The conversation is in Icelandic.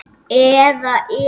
Eða eru hinir bara betri?